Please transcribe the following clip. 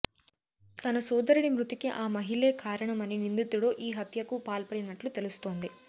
తన సోదరుడి మృతికి ఆ మహిళే కారణమని నిందితుడు ఈ హత్యకు పాల్పడినట్లు తెలుస్తోంది